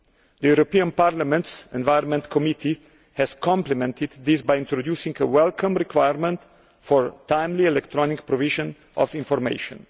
The European Parliament's Environment Committee has complemented this by introducing a welcome requirement for timely electronic provision of information.